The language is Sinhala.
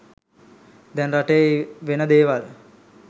දැන් රටේ වෙන දේවල්.